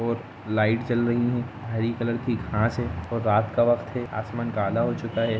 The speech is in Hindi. लाइट चल रही है हरी कलर की कहां से और रात का वक्त से आसमान काला हो चुका है।